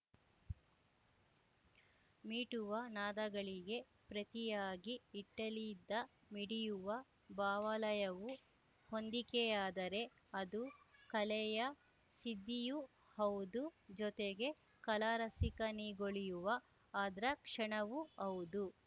ಮೀಟುವ ನಾದಗಳಿಗೆ ಪ್ರತಿಯಾಗಿ ಇಟ್ಟಲಿಯಿದ್ದ ಮಿಡಿಯುವ ಭಾವಲಯವು ಹೊಂದಿಕೆಯಾದರೆ ಅದು ಕಲೆಯ ಸಿದ್ದಿಯೂ ಹೌದು ಜೊತೆಗೆ ಕಲಾರಸಿಕನಿಗೊಳಿಯುವ ಆದ್ರ ಕ್ಷಣವೂ ಹೌದು